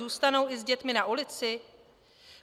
Zůstanou i s dětmi na ulici?